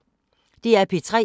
DR P3